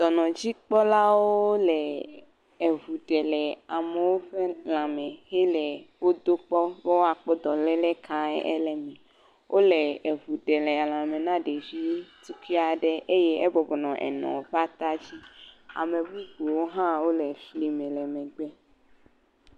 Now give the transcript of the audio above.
Dɔnɔdzikpɔlawo le ŋu ɖe le amewo ƒe lãme hele wodo kpɔ be woakpɔ dɔléle kae ele me. Wole eŋu ɖee le lãme na ɖevi tukui aɖe eye ebɔbɔ nɔ enɔ ƒe ata dzi. Ame bubuwo hã wole fli me le megbe.